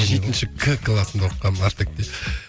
жетінші к класында оқығанмын артекте